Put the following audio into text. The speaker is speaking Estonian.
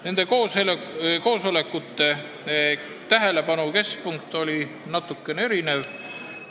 Nende koosolekute tähelepanu keskpunkt oli natukene erinevas kohas.